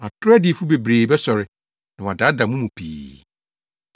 Atoro adiyifo bebree bɛsɔre, na wɔadaadaa mo mu pii.